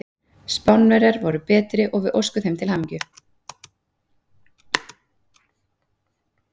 Spánverjar voru betri og við óskum þeim til hamingju.